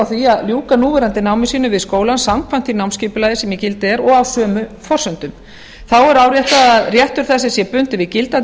því að ljúka núverandi námi sínu við skólann samkvæmt því námsskipulagi sem í gildi er og sömu forsendum þá er áréttað að réttur þessi sé bundinn í gildandi